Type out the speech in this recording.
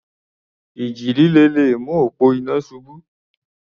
Ìjì líle le mú òpó iná ṣubú.